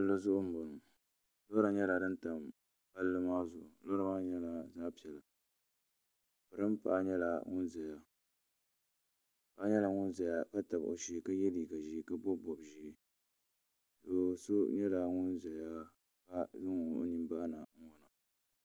Palli zuɣu n bɔŋo lɔra nyɛla din tam palli maa zuɣu lɔra maa nyɛla zaɣa piɛla piringa paɣa nyɛla ŋun zaya paɣa nyɛla ŋun zaya ka tabi o shee ka yɛ liiga ʒee ka bɔbi bɔbi ʒee doo so nyɛla ŋun zaya ka zaŋ o nini bahi na n ŋɔna.